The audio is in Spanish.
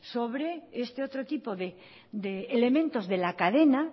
sobre este otro tipo de elementos de la cadena